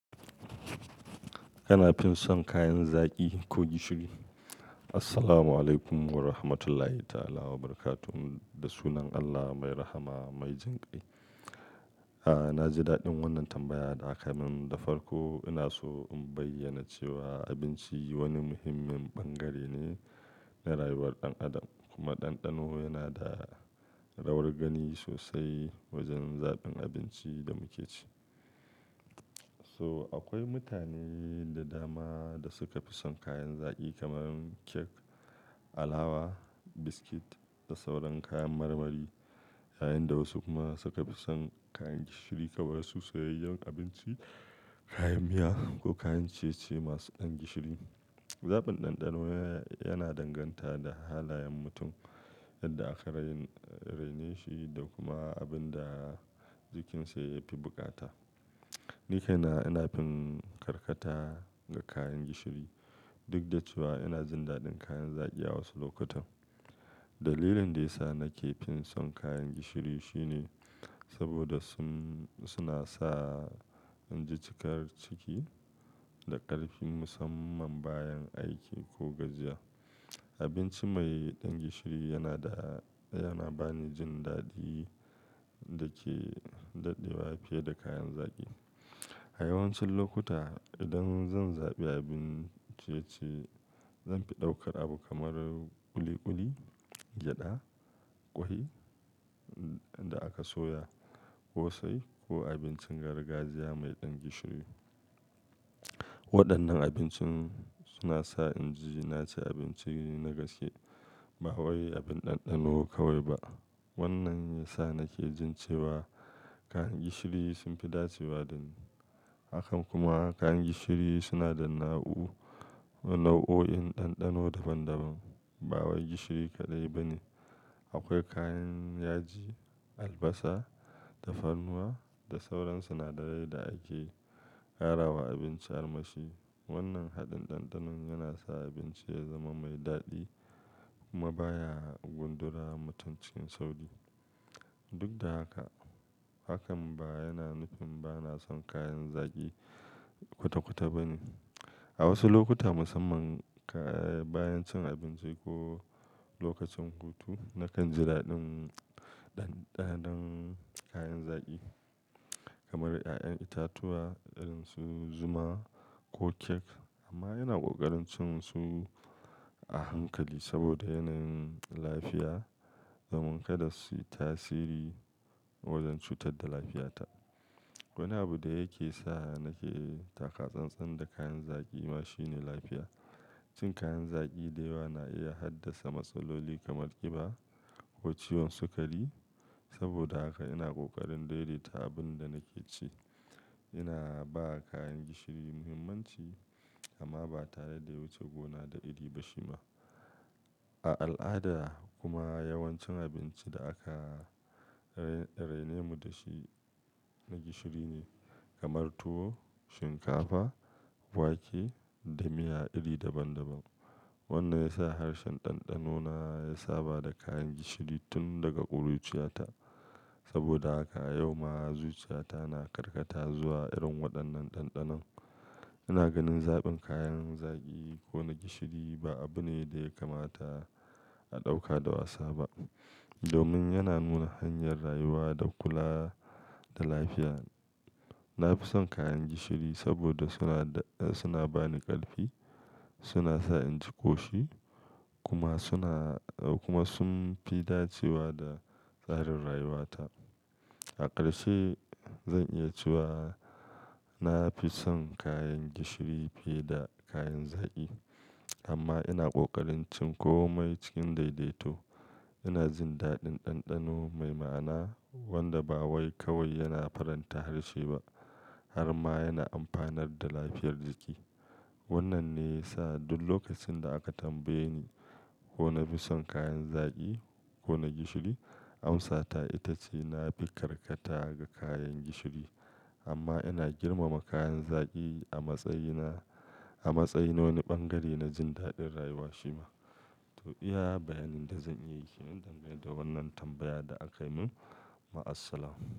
Yana fison kayan zaki ko gishiri? Assalamualaikum warahmatullahi ta'ala wa barakatu. Da sunan Allah mai rahama mai jan kai. Aaa, na ji daɗin wannan tambaya da aka min. Da farko ina so in bayyana cewa abinci wani muhimmin ɓangare ne na rayuwar ɗan adam kuma ɗanɗano yana da rawar gani sosai wajen zaɓin abincin da muke ci. So akwai mutane da dama da suka fi son kayan zaki kamar cake, alawa, biskit da sauran kayan marmari yayin da wasu kuma suka fi son kayan gishiri kamar su soyayyen abinci, kayan miya ko kayan ciye-ciye masu ɗan gishiri. Zaɓin ɗanɗano yana danganta da halayen mutum, yadda aka raini-- rainashi da kuma abin da jikinsa ya fi bukata. Ni kaina ina fi karkata ga kayan gishiri duk da cewa ina jin daɗin kayan zaki a wasu lokutan. Dalilin da ya sa nake fi son kayan gishiri shine saboda sun-- suna sa in ji cikar ciki da ƙarfi musamman bayan aiki ko gajiya. Abinci mai ɗan gishiri yana da-- yana ba ni jin daɗi da ke daɗewa fiye da kayan zaki. A yawancin lokuta idan zan zaɓi abin ciye-ciye, zanfi ɗaukar abu kamar ƙuli-ƙuli, gyaɗa, ƙwai da aka soya, ƙosai ko abincin gargajiya mai ɗan gishiri. Waɗannan abincin suna sa in ji na ci abinci na gaske ba wai abin ɗanɗano kawai ba. Wannan ya sa nake jin cewa kayan gishiri sun fi dacewa da ni. Haka kuma kayan gishiri suna da nau'u-- nau'o'in ɗanɗano daban-daban, ba wai gishiri kaɗai ba ne. Akwai kayan yaji, albasa, tafarnuwa da sauran sinadarai da ake ƙara wa abinci ar mashi. Wannan haɗin ɗanɗanon yana sa abinci ya zama mai daɗi kuma ba ya gundura mutum cikin sauƙi. Duk da haka, hakan ba yana nufin ba na son kayan zaki kwata-kwata ba ne. A wasu lokuta musamman bayan cin abinci ko lokacin hutu nakan ji daɗin ɗanɗanon kayan zaki kamar ƴaƴan itatuwa irin su zuma ko cake amma ina ƙoƙarin cin su a hankali saboda yanayin lafiya domin kada su yi tasiri wajen cutar da lafiyata. Wani abu da yake sa nake taka tsantsan da kayan zaki ma shine lafiya. Cin kayan zaki da yawa na iya haddasa matsaloli kamar ƙiba ko ciwon sukari. Saboda haka ina ƙoƙarin daidaita abin da nake ci. Ina ba kayan gishiri muhimmanci amma ba tare da wuce gona da iri ba shima. A al'ada kuma yawancin abincin da aka raini mu da shi na gishiri ne kamar tuwo, shinkafa, wake da miya iri daban-daban. Wannan ya sa harshen ɗanɗanona ya saba da kayan gishiri tun daga ƙuruciyarta. Saboda haka yau ma zuciyata na karkata zuwa irin waɗannan ɗanɗanon. Ina ganin zaɓin kayan zaki ko na gishiri ba abu ne da ya kamata a ɗauka da wasa ba domin yana nuna hanyar rayuwa da kula da lafiya. Na fi son kayan gishiri saboda suna da-- suna ba ni ƙarfi, suna sa in ji ƙoshi kuma suna-- kuma sun fi dacewa da tsarin rayuwata. A ƙarshe zan iya cewa na fi son kayan gishiri fiye da kayan zaki amma ina ƙoƙarin cin komai cikin daidaito. Ina jin daɗin ɗanɗano mai ma'ana wanda ba wai kawai yana faranta harshe ba har ma yana amfanar da lafiyar jiki. Wannan ne ya sa duk lokacin da aka tambaye ni ko na fi son kayan zaki ko na gishiri, amsata ita ce na fi karkata ga kayan gishiri amma ina girmama kayan zaki a matsayi na-- a matsayin nawani ɓangare na jin daɗin rayuwa shima. To iya bayanin da zan iya yi ke nan dan gane da wannan tambaya da aka min. Ma asalama.